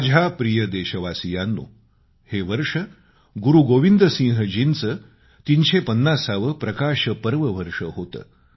माझ्या प्रिय देशवासियांनो हे वर्ष गुरूगोविंद सिंहजींचे 350 वे प्रकाश पर्व वर्ष होते